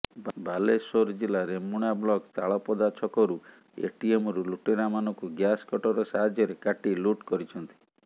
ବାଲେଶ୍ବର ଜିଲ୍ଲା ରେମୁଣା ବ୍ଲକ୍ ତାଳପଦାଛକରୁ ଏଟିଏମକୁ ଲୁଟେରାମାନଙ୍କୁ ଗ୍ୟାସ୍ କଟର ସାହାଯ୍ୟରେ କାଟି ଲୁଟ୍ କରିଛନ୍ତି